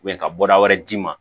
ka bɔ da wɛrɛ d'i ma